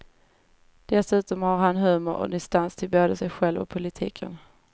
Dessutom har han humor och distans till både sig själv och politiken.